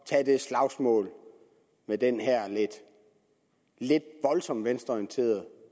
tage det slagsmål med den her lidt voldsomt venstreorienterede